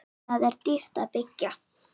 Þar er dýrt að byggja.